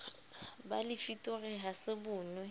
ba lefitori ha se bonwe